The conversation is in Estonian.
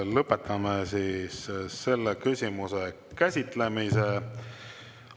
Lõpetame selle küsimuse käsitlemise.